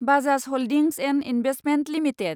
Bajaj holdings & investment limited